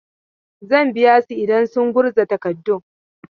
Zan biya su idan sun gurza takardun.